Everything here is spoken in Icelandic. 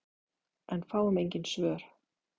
En fáum engin svör.